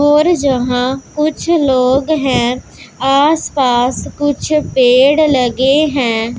और जहां कुछ लोग है आस पास कुछ पेड़ लगे लगे है।